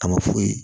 A ma foyi